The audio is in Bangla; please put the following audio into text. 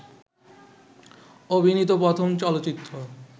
অভিনীত প্রথম চলচ্চিত্র